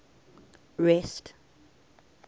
rest